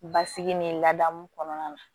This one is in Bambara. Basigi ni ladamu kɔnɔna na